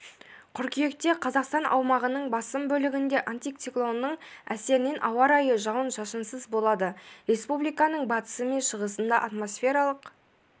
қыркүйекте қазақстан аумағының басым бөлігінде антициклонның әсерінен ауа райы жауын-шашынсыз болады республиканың батысы мен шығысында атмосфералық